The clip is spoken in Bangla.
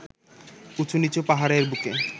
উঁচু-নিচু পাহাড়ের বুকে